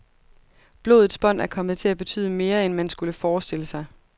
Blodets bånd er kommet til at betyde mere, end man skulle forestille sig.